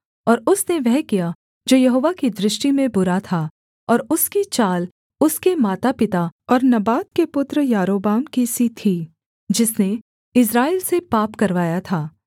और उसने वह किया जो यहोवा की दृष्टि में बुरा था और उसकी चाल उसके माता पिता और नबात के पुत्र यारोबाम की सी थी जिसने इस्राएल से पाप करवाया था